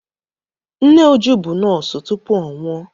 Nne Uju bụ nọọsụ tupu ọ nwụọ.